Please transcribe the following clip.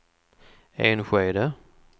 Enskede